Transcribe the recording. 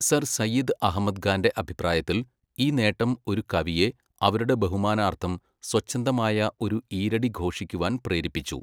Sir Syed Ahmad ഖാന്റെ അഭിപ്രായത്തിൽ, ഈ നേട്ടം ഒരു കവിയെ അവരുടെ ബഹുമാനാർത്ഥം സ്വച്ഛന്ദമായ ഒരു ഈരടി ഘോഷിക്കുവാൻ പ്രേരിപ്പിച്ചു.